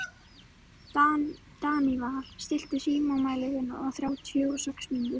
Daníval, stilltu tímamælinn á þrjátíu og sex mínútur.